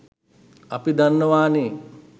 අපි දන්නවානේ